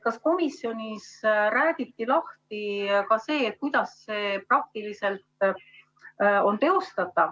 Kas komisjonis räägiti lahti ka see, kuidas see praktiliselt teostatav on?